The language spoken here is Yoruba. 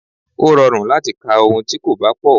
Ó rọrùn láti ka ohun tí kò bá pọ̀.